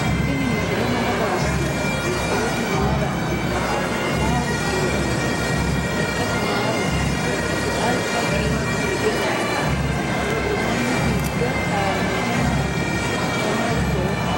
tinni misile maa xawisano? beetu maa la"anino? maa udire uure no?leekate maa wodhino? alba hika hige uure no?bonu gido haranohu mati? danna hitoho?